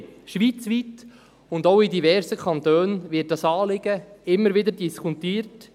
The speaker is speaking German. Schweizweit und auch in diversen Kantonen wird dieses Anliegen immer wieder diskutiert.